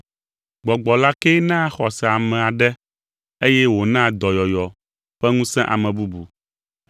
Gbɔgbɔ la kee naa xɔse ame aɖe eye wònaa dɔyɔyɔ ƒe ŋusẽ ame bubu.